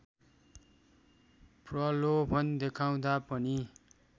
प्रलोभन देखाउँदा पनि